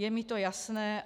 Je mi to jasné.